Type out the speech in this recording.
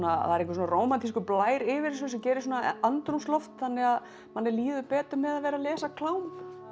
það er einhver rómantískur blær yfir þessu sem gerir svona andrúmsloft þannig að manni líður betur með að vera að lesa klám